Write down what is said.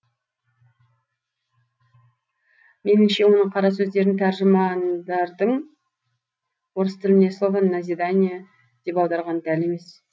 меніңше оның қара сөздерін тәржімандардың орыс тіліне слово назидание деп аударғаны дәл емес